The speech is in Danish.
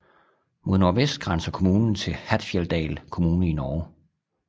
Mod nordvest grænser kommunen til Hattfjelldal kommune i Norge